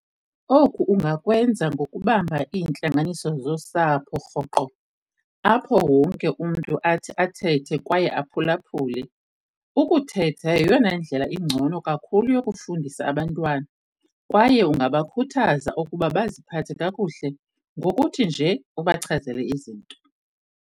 Oku ungakwenza ngokubamba iintlanganiso zosapho rhoqo, apho wonke umntu athi athethe kwaye aphulaphule. Ukuthetha yeyona ndlela ingcono kakhulu yokufundisa abantwana, kwaye ungabakhuthaza ukuba baziphathe kakuhle ngokuthi nje ubachazele izinto.